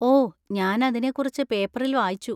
ഓ, ഞാൻ അതിനെക്കുറിച്ച് പേപ്പറിൽ വായിച്ചു.